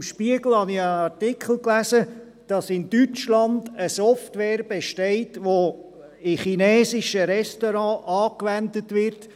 Im «Spiegel» habe ich in einem Artikel gelesen, dass in Deutschland eine Software existiert, die in chinesischen Restaurants angewandt wird.